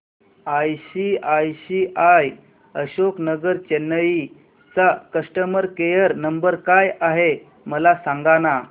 ICICI Ashok Nagar Chennai चा customer care number काय आहे मला सांगाना